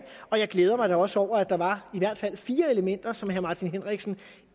og jeg glæder mig da også over at der var i hvert fald fire elementer som herre martin henriksen